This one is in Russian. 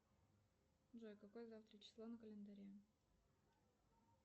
джой какое завтра число на календаре